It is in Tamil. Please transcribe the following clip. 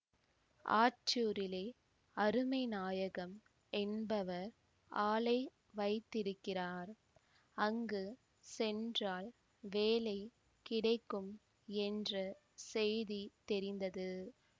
ஆற்றூரிலே அருமைநாயகம் என்பவர் ஆலை வைத்திருக்கிறார் அங்கு சென்றால் வேலை கிடைக்கும் என்ற செய்தி தெரிந்தது